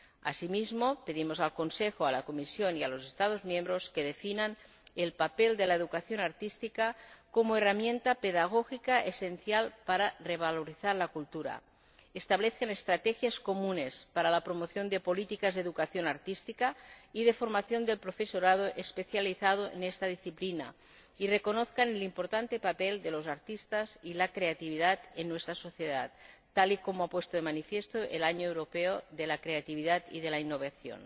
Asimismo, pedimos al Consejo, a la Comisión y a los Estados miembros que definan el papel de la educación artística como herramienta pedagógica esencial para revalorizar la cultura, que establezcan estrategias comunes para la promoción de políticas de educación artística y de formación del profesorado especializado en esta disciplina, y que reconozcan el importante papel de los artistas y la creatividad en nuestra sociedad, tal y como ha puesto de manifiesto el Año Europeo de la Creatividad y de la Innovación.